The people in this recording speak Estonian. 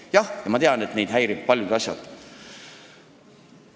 Jah, ma tean, et neid häirivad paljud asjad.